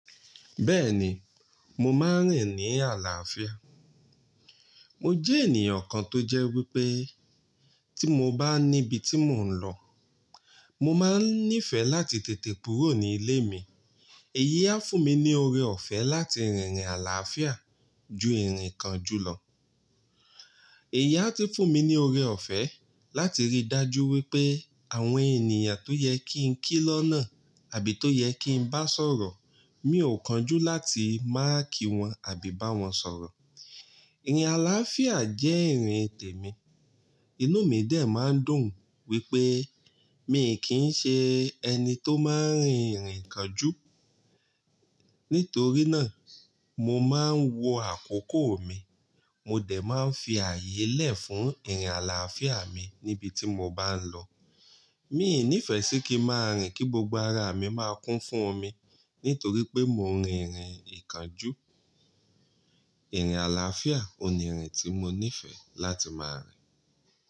Bẹ́ẹ̀ni, mo máa ń rìn ní àlàáfíà. Mo jẹ́ ènìyàn kan tó jẹ́ wípé tí mo bá níbi tí mò ń lọ, mo máa ń nífẹ̀ẹ́ láti tètè kúrò ní ilé mi. Eyi fún mi ní oore-ọ̀fẹ́ láti rìn ní àlàáfíà ju ìrìn kan jù lọ. Eyi ti fún mi ní oore-ọ̀fẹ́ láti ríi dájú wípé àwọn ènìyàn tó yẹ kí n kí lọ́nà àbí tó yẹ kí n bá sọ̀rọ̀, mi ò kanjú láti máa kí wọn àbí bá wọn sọ̀rọ̀. Ìrìn àlàáfíà jẹ́ ìrìn tèmi. Inú mi dè máa ń dùn wípé mi kì ń ṣe ẹni tó máa ń rìn ìrìn ìkánjú. Nítorí náà, mo máa ń wọ àkókò mi, mo dè máa ń fi ààyè lẹ̀ fún ìrìn àlàáfíà mi níbi tí mo bá ń lọ. Mi ò nífẹ̀ẹ́ sí kí màá rìn kí gbogbo ara mi máa kún fún omi nítorí pé mo ń rìn ìrìn ìkánjú. Ìrìn àlàáfíà ni ìrìn tí mo nífẹ̀ẹ́ láti máa rìn.